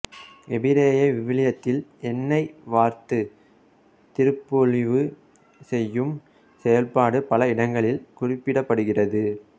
எபிரேய விவிலியத்தில் எண்ணெய் வார்த்து திருப்பொழிவு செய்யும் செயல்பாடு பல இடங்களில் குறிப்பிடப்படுகிறது